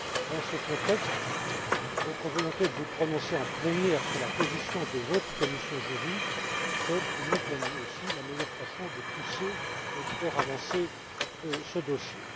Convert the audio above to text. Dans ce contexte, votre volonté de vous prononcer en plénière sur la position de votre commission JURI constitue, de mon point de vue aussi, la meilleure façon de faire avancer ce dossier.